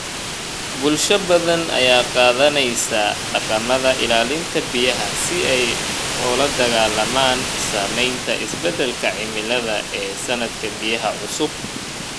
Bulsho badan ayaa qaadanaya dhaqamada ilaalinta biyaha si ay ula dagaallamaan saamaynta isbeddelka cimilada ee saadka biyaha cusub.